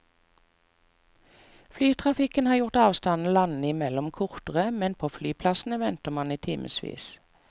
Flytrafikken har gjort avstanden landene imellom kortere, men på flyplassene venter man i timevis.